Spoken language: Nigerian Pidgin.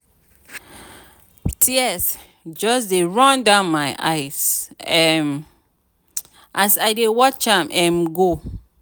tears just dey run down my eyes um as i dey watch am um go.